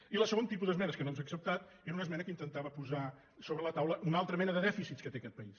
i el segon tipus d’esmenes que no ens ha acceptat era una esmena que intentava posar sobre la taula una altra mena de dèficits que té aquest país